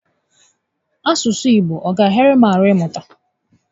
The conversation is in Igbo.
Asụsụ Igbo a ga ahịara m ahụ ị mụta?